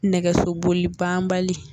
Nɛgɛsoboli banbali